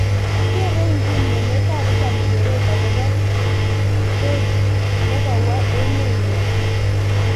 Kerei inguni emet ab Italy keret akobo toot nekawo emet nya